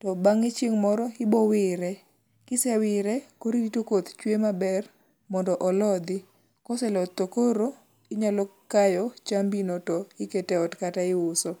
to bang'e chieng' moro ibowire, kisewire koro irito koth chwe maber mondo olodhi, koseloth to koro inyalo kayo chambino to ikete ot kata iuso.